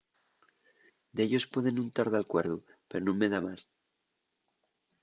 dellos pueden nun tar d’alcuerdu pero nun me da más